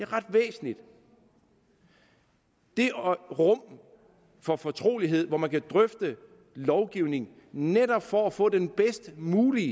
ret væsentligt det rum for fortrolighed hvor man kan drøfte lovgivning netop for at få den bedst mulige